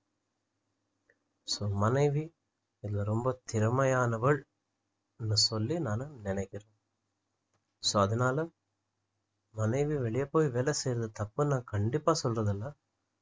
so மனைவி இதுல ரொம்ப திறமையானவள் என்று சொல்லி நானு நினைக்கிறேன் so அதனால மனைவி வெளிய போய் வேலை செய்றது தப்புன்னு நான் கண்டிப்பா சொற்றதில்ல